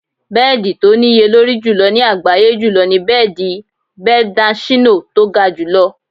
Bẹ́ẹ̀dì tó níye lórí jùlọ ní àgbáyé jùlọ ni bẹ́ẹ̀dì Beldachino tó ga jù lọ.